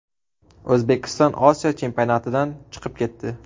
O‘zbekiston Osiyo chempionatidan chiqib ketdi.